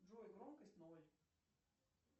джой громкость ноль